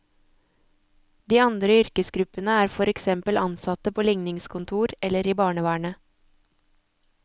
De andre yrkesgruppene er for eksempel ansatte på ligningskontor eller i barnevernet.